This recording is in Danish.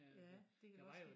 Ja det kan jeg godt se